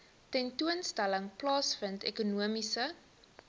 tentoonstelling plaasvind ekonomiese